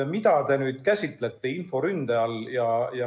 Mida te käsitlete inforünde all?